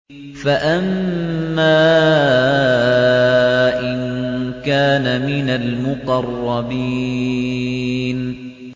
فَأَمَّا إِن كَانَ مِنَ الْمُقَرَّبِينَ